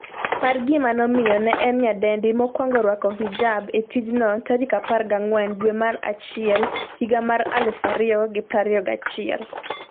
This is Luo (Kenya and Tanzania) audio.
par gima nomiyo ne en nyadendi mokwongo rwako hijab e tijno14 dwe mar achiel higa mar 2021